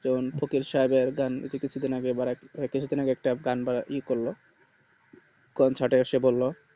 কারণ ফকির সাহেব এর গান এইতো কিছু দিন আগে গানটা ই করলো concert এ এসে বললো